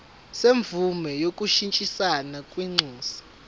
semvume yokushintshisana kwinxusa